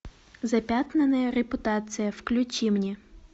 запятнанная репутация включи мне